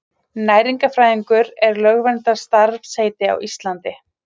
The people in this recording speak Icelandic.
Næringarfræðingur er lögverndað starfsheiti á Íslandi.